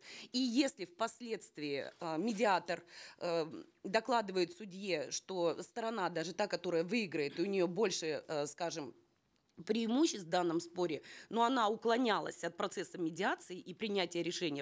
и если впоследствии э медиатор э докладывает судье что сторона даже та которая выиграет у нее больше э скажем преимуществ в данном споре но она уклонялась от процесса медиации и принятия решения